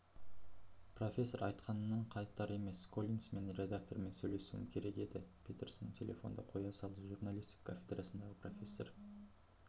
профессор айтқанынан қайтар емес коллинс мен редактормен сөйлесуім керекдеді петерсон телефонды қоя салды журналистика кафедрасындағы профессор